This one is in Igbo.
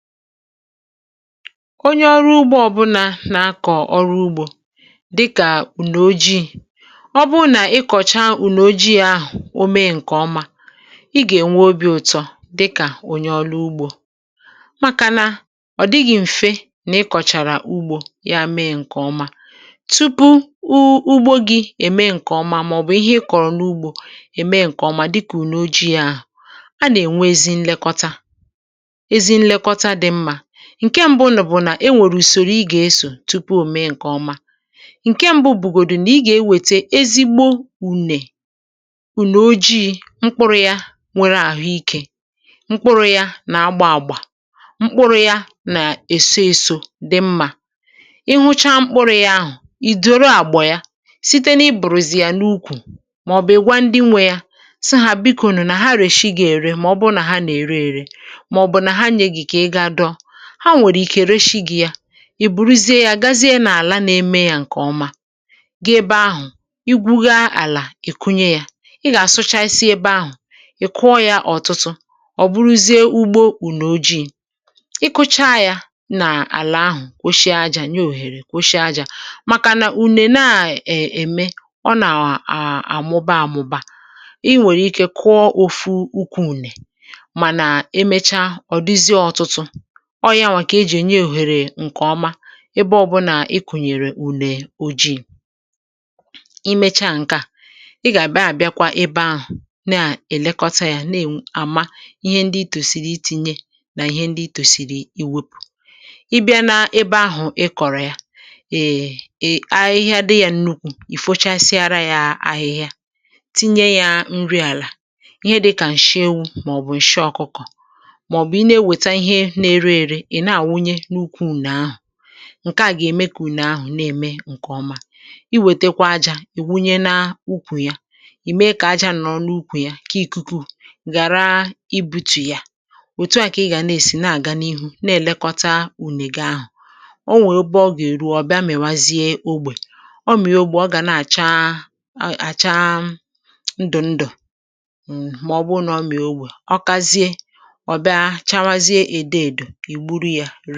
Onye ọrụ ugbo ọ̀bụla na-akọ ọrụ ugbo dịka une ojii, ọ bụrụ na ị kọcha une ojii ahụ o mee nke ọma, ị ga-enwe obi ụtọ dịka onye ọrụ ugbo, maka na ọ̀ dịghị mfe ịkọchara ugbo ya mee nke ọma. Tupu ugbo gị e mee nke ọma, ma ọ bụ ihe ị kọrọ n’ugbo e mee nke ọma, dịka une ojii ahụ, a na-enwe ezi nlekọta. Nke mbụ bụ na e nwere usoro ị ga-eso tupu o mee nke ọma. Nke mbụ bụgodị na ị ga-eweta ezigbo une, une ojii mkpụrụ ya nwere ahụ ike, mkpụrụ ya na-agba agba, mkpụrụ ya na-eso eso dị mma. Ị hụcha mkpụrụ ya ahụ, i duru àgbọ ya site n’iburu ya n’ukwù, ma ọ bụ ịgwa ndị nwe ya sị ha, “Biko nụ, unu na-ere?” Ma ọ bụ na ha na-ere, ha nwere ike ree gị ya. I buru ya gaa n’ala, na-eme ya nke ọma, gee ebe ahụ, igwu ala, i kụnye ya. Ị ga-asụchasị ebe ahụ, i kụọ ya ọtụtụ. Ọ bụrụ na ugbo bụ n’ojii, ikọcha ya na ala ahụ, kpochie aja, nye ohere. Kpochie aja maka na une na-eme, ọ na-[um] a-amụba-amụba. Ị nwere ike kụọ otu ukwu une, mana emecha, ọ dịzie ọtụtụ, ọ ya nwa ka e ji enye ohere nke ọma. Ebe ọ bụ na ị kụnyere une ojii, i mechaa nke a, i ga-abịa, abịa kwa ebe ahụ, na-elekọta ya, na-ama ihe ndị itosiri itinye na ihe ndị itosiri iwepụ. Ị bịa na ebe ahụ, ị kọrọ ya um eee, ahụ ihe dị ya nnukwu. Ị fochasịa ya ahịhịa, tinye ya nri ala, ihe dị ka nshị ewu ma ọ bụ nshị ọkụkọ. Ma ọ bụ ene weta ihe na-ere ere e, na wunye na ukwu une ahụ. Nke a ga-eme ka une eme nke ọma. I weta kwa aja, i wunye na ukwu ya, i mee ka aja nọ n’ukwù ya kee ikuku, ghara ibutu ya. Otu a ka ị ga na-esi na-aga n’ihu na-elekọta unega ahụ. Ọ nwe ebe ọ ga-eru; ọbịa mewazie ogbe, ọ mee ogbe, ọ ga na-acha ndụ ndụ. Ma ọ bụrụ na ọ mee ogbe ọzọ, ọ kazie, ana-acha edo edo egburu ya.